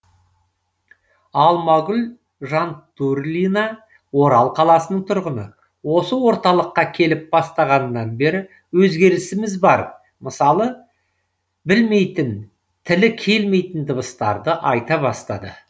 алмагүл жантурлина орал қаласының тұрғыны осы орталыққа келіп бастағаннан бері өзгерісіміз бар мысалы білмейтін тілі келмейтін дыбыстарды айта бастады